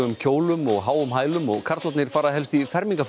kjólum og háum hælum og karlarnir fara helst í